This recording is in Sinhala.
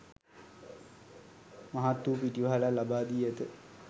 මහත් වූ පිටිවහලක් ලබා දී ඇත.